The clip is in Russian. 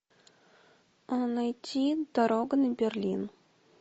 найти дорога на берлин